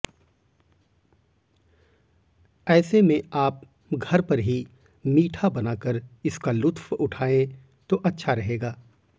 ऐसे में आप घर पर ही मीठा बनाकर इसका लुत्फ़ उठाए तो अच्छा रहेगा